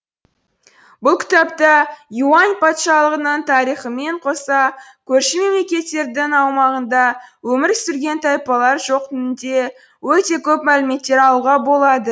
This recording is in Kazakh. бұл кітапта юань патшалығының тарихымен қоса көрші мемлекеттердің аумағында өмір сүрген тайпалар жөқнінде өте көп мәліметтер алуға болады